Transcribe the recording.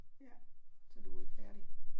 Ja. Så du er ikke færdig